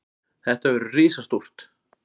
Þetta verður risastórt.